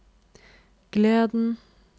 gleden